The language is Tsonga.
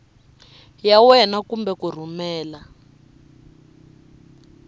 ya wena kumbe ku rhumela